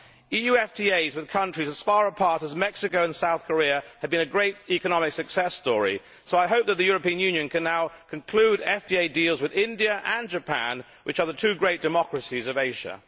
EU FTAs with countries as far apart as Mexico and South Korea have been a great economic success story, so I hope that the European Union can now conclude FTA deals with India and Japan, which are the two great democracies of Asia.